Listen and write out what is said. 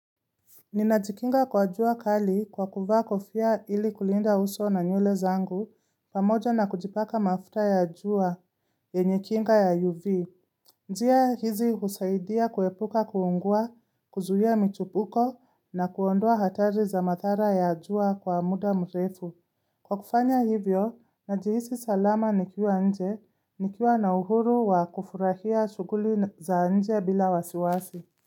Ninajikinga kwa jua kali kwa kuvaa kofia ili kulinda uso na nywele zangu pamoja na kujipaka mafuta ya jua yenye kinga ya UV. Njia hizi husaidia kuepuka kuungua, kuzuia michipuko na kuondoa hatari za mathara ya jua kwa muda mrefu. Kwa kufanya hivyo, najihisi salama nikiwa nje, nikiwa na uhuru wa kufurahia shughuli za nje bila wasiwasi.